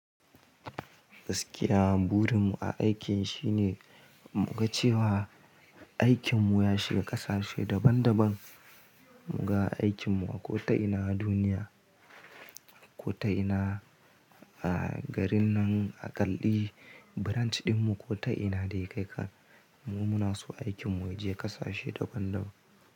Gaskiya burin mu a aikin shine mu ga cewa aikin mu ya shiga ƙasashe daban daban. Mu ga aikin mu a ko ta ina duniya, ko ta ina a garin nan a ƙalli branch din mu, ko ta ina dai kai ka. Mu muna so aikin mu ya je ƙasashe daban daban.